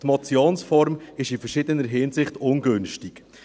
Die Motionsform ist in verschiedener Hinsicht ungünstig.